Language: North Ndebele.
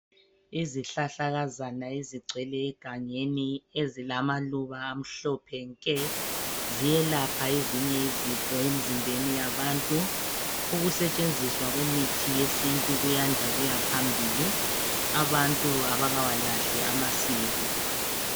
Izihlahlakazana ezigcwele egangeni ezilamaluba amhlophe nke ziyelapha ezinye izifo emzimbeni yabantu. Ukusetshenziswa kwemithi yesintu kuyanda kuyaphambili abantu abakawalahli amasiko.